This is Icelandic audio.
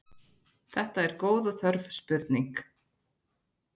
Þetta er góð og þörf spurning.